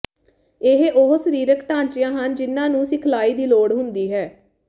ਇਹ ਉਹ ਸਰੀਰਿਕ ਢਾਂਚਿਆਂ ਹਨ ਜਿਨ੍ਹਾਂ ਨੂੰ ਸਿਖਲਾਈ ਦੀ ਲੋੜ ਹੁੰਦੀ ਹੈ